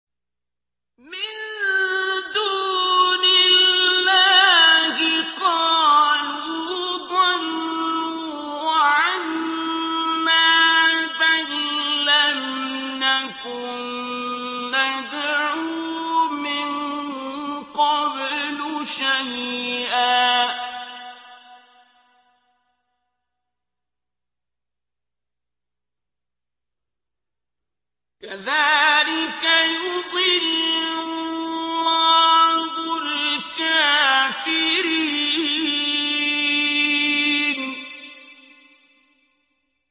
مِن دُونِ اللَّهِ ۖ قَالُوا ضَلُّوا عَنَّا بَل لَّمْ نَكُن نَّدْعُو مِن قَبْلُ شَيْئًا ۚ كَذَٰلِكَ يُضِلُّ اللَّهُ الْكَافِرِينَ